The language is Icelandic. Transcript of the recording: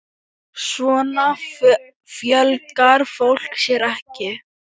Svona fjölgar fólk sér ekki!